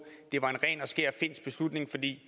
det var en ren og skær finsk beslutning fordi